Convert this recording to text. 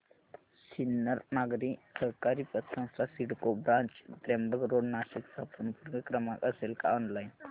Sinnar Nagari Sahakari Patsanstha CIDCO branch Trimbak road Nashik चा संपर्क क्रमांक असेल का ऑनलाइन